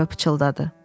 tələbə pıçıldadı.